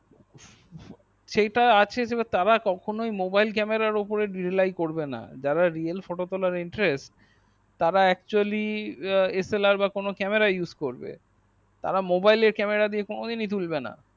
সেইটা আছে তারা কখনোই mobile camerar ওপর reallai করবে না যারা রিয়েল photo তোলার interest তারা actually slr বা কোনো camera use করবে তারা mobile এ camera দেয়া কোনো দিনই তুলব না